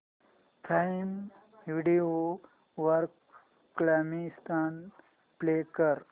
prime video वर Comicstaan play कर